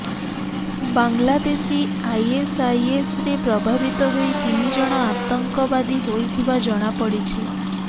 ବାଂଲାଦେଶୀ ଆଇଏସଆଇଏସରେ ପ୍ରଭାବିତ ହୋଇ ତିନିଜଣ ଆତଙ୍କବାଦୀ ହୋଇଥିବା ଜଣାପଡ଼ିଛି